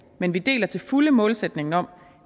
men vi deler til fulde målsætningen om